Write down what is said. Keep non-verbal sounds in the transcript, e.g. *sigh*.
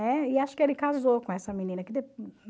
Né? E acho que ele casou com essa menina. *unintelligible*